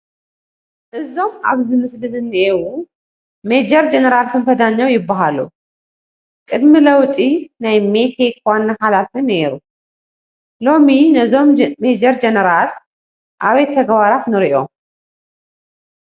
እዞም ኣብ ምስሊ ዝኔዉ ሜጀር ጀኔራል ክንፈ ዳኘው ይበሃሉ፡፡ ቅድሚ ለውጢ ናይ ሜቴክ ዋና ሓላፊ ነይሮ፡፡ ሎሚ ነዞም ሜጀር ጀኔራል ኣበይ ተግባራት ንሪኦም?